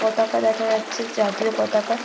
পতাকা দেখা যাচ্ছে জাতীয় পতাকা ।